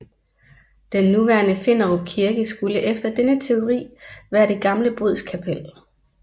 Den nuværende Finderup Kirke skulle efter denne teori være det gamle bodskapel